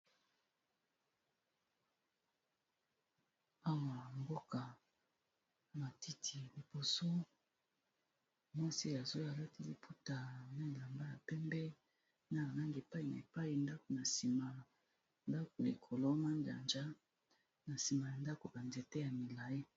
Awa mboka ya matiti liboso mwasi alati liputa na elamba ya pembe na anangi epayi na epayi ndakona sima ndako na ekolo majanja na sima ya ndako ba nzete ya milayi.